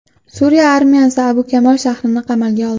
Suriya armiyasi Abu Kamol shahrini qamalga oldi.